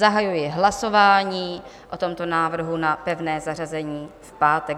Zahajuji hlasování o tomto návrhu na pevné zařazení v pátek.